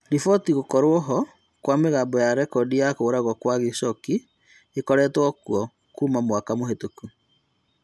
Riboti cia gũkorwo ho Kwa mĩgambo ya rekondi ya kũragwo gwa Khashoggi nĩikoretwo kuo Kuma mwaka mũhetũku